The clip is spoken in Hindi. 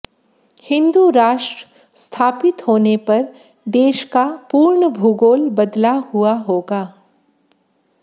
हिन्दू राष्ट्र स्थापित होने पर देश का पूर्ण भूगोल बदला हुआ होगा